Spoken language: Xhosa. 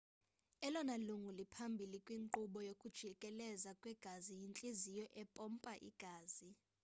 elona lungu liphambili kwinkqubo yokujikeleza kwegazi yintliziyo empompa igazi